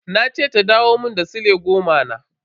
Na ce ta dawo mun da sile goma na.